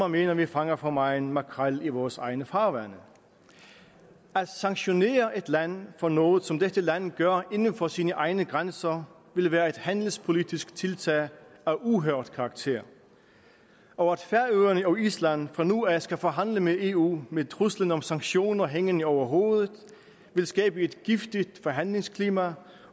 mener vi fanger for meget makrel i vores egne farvande at sanktionere et land for noget som dette land gør inden for sine egne grænser vil være et handelspolitisk tiltag af uhørt karakter og at færøerne og island fra nu af skal forhandle med eu med truslen om sanktioner hængende over hovedet vil skabe et giftigt forhandlingsklima